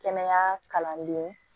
Kɛnɛya kalandenw